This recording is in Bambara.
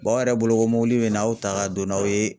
aw yɛrɛ bolo ko mɔbili bɛ na aw ta ka don n'aw ye.